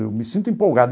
Eu me sinto empolgado.